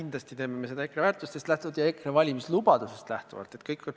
Kindlasti me teeme seda EKRE väärtustest lähtuvalt ja EKRE valimislubadusest lähtuvalt.